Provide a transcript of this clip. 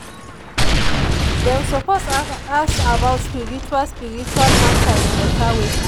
dem suppose ask about spiritual spiritual matter in better way.